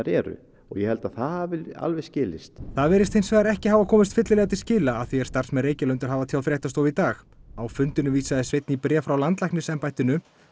eru og ég held að það hafi alveg skilist það virðist hins vegar ekki hafa komist fyllilega til skila að því er starfsmenn Reykjalundar hafa tjáð fréttastofu í dag á fundinum vísaði Sveinn í bréf frá landlæknisembættinu